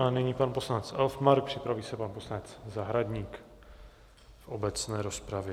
A nyní pan poslanec Elfmark, připraví se pan poslanec Zahradník v obecné rozpravě.